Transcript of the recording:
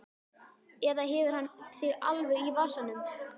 Eða hefur hann þig alveg í vasanum?